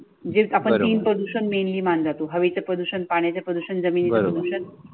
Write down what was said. म्हणजे आपण तीन प्रदूषण मेनली मांडतो, हवेचे प्रदूषण, पाण्याचे प्रदूषण, जमिनीनच प्रदूषण